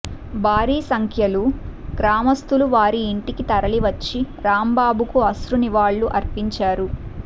భారీ సంఖ్యలు గ్రామస్థులు వారి ఇంటికి తరలివచ్చి రాంబాబుకు అశ్రునివాళులు అర్పించారు